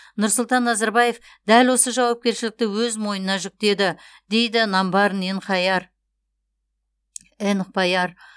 нұрсұлтан назарбаев дәл осы жауапкершілікті өз мойнына жүктеді дейді намбарын энхбаяр